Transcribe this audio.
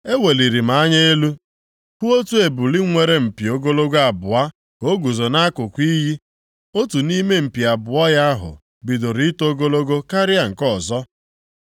Eweliri m anya elu, hụ otu ebule nwere mpi ogologo abụọ ka o guzo nʼakụkụ iyi, otu nʼime mpi abụọ ya ahụ bidoro ito ogologo karịa nke ọzọ.